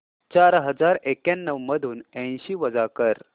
चार हजार एक्याण्णव मधून ऐंशी वजा कर